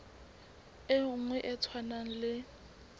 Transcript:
e nngwe e tshwanang le